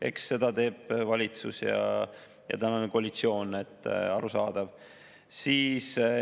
Eks seda teevad valitsus ja tänane koalitsioon, arusaadav.